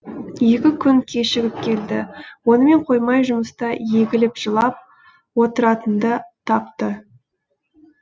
екі күн кешігіп келді онымен қоймай жұмыста егіліп жылап отыратынды тапты